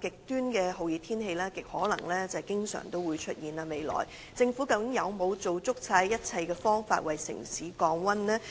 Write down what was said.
極端的酷熱天氣很可能會在未來經常出現，究竟政府有否用盡一切辦法為城市降溫？